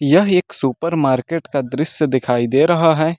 यह एक supermarket का दृश्य दिखाई दे रहा है।